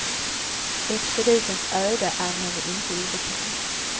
Expeditens öde är henne inte obekant.